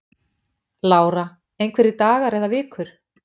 Lára: Einhverjir dagar eða vikur?